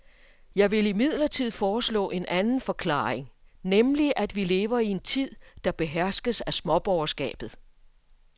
Jeg vil imidlertid foreslå en anden forklaring, nemlig at vi lever i en tid, der beherskes af småborgerskabet.